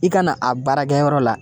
I kana a baarakɛyɔrɔ la